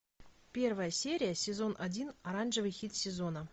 первая серия сезон один оранжевый хит сезона